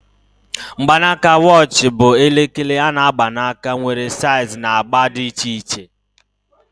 Mgbanaka watch bụ elekere a-na agba aka, nwere saiz na agba dị iche iche